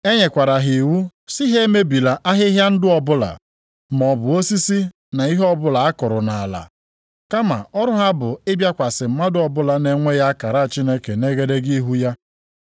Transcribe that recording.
E nyere ha iwu si ha emebila ahịhịa ndụ ọbụla, maọbụ osisi na ihe ọbụla a kụrụ nʼala. Kama ọrụ ha bụ ịbịakwasị mmadụ ọbụla na-enweghị akara Chineke nʼegedege ihu ya.